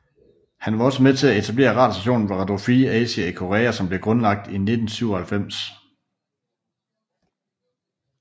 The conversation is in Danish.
Han var også med til at etablere radiostationen Radio Free Asia i Korea som ble grundlagt i 1997